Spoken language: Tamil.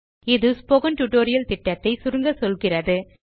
இது ஸ்போக்கன் டியூட்டோரியல் புரொஜெக்ட் ஐ சுருக்கமாக சொல்லுகிறது